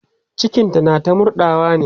cikinta na ta murɗawa ne